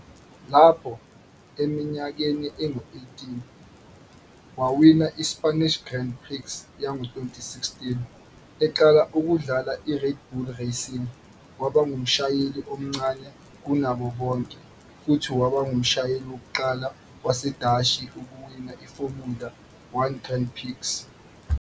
Lapho eneminyaka engu-18, wawina i-Spanish Grand Prix yango-2016 eqala ukudlala iRed Bull Racing, waba ngumshayeli omncane kunabo bonke futhi waba ngumshayeli wokuqala waseDashi ukuwina iFormula One Grand Prix.